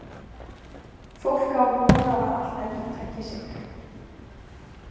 Fólk á von á að allt endurtaki sig.